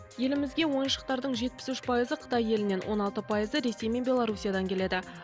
елімізге ойыншықтардың жетпіс үш пайызы қытай елінен он алты пайызы ресей мен белорусиядан келеді